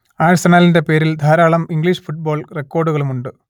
ആഴ്സണലിന്റെ പേരിൽ ധാരാളം English football റെക്കോർഡുകളുമുണ്ട്